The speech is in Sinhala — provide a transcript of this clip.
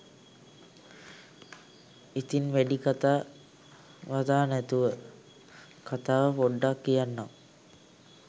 ඉතිං වැඩි කතා බතා නැතිව කතාව පොඩ්ඩක් කියන්නම්